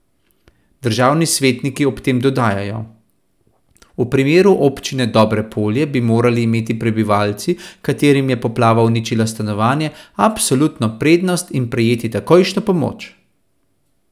Državni svetniki ob tem dodajajo: 'V primeru Občine Dobrepolje bi morali imeti prebivalci, katerim je poplava uničila stanovanje, absolutno prednost in prejeti takojšno pomoč!